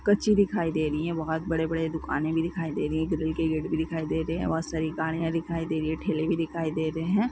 कच्ची दिखाई दे रही है बहुत बड़े बड़े दुकाने भी दिखाई दे रही है बगल के गेट भी दिखाई दे रही है बहुत सारी गाड़ियां दिखाई दे रही है ठेले भी दिखाई दे रहे है।